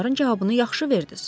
onların cavabını yaxşı verdiz.